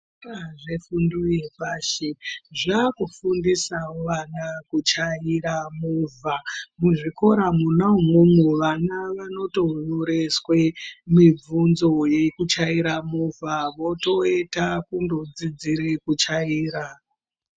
Zvikora zvefundo yepashi zvava kufundiswa wo vana kuchaira movha muzvikora mona imomo vana vano tonyoreswa mibvunzo yekuchaire movha votoenda kunodzidzire kuchaira.